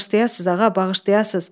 Bağışlayasız ağa, bağışlayasız.